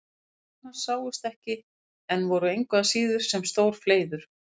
Sár hans sáust ekki en voru engu að síður sem stór fleiður.